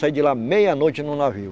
Saí de lá meia noite no navio.